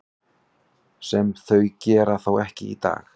Sem þau gera þó ekki í dag.